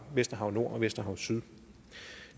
vesterhav nord og vesterhav syd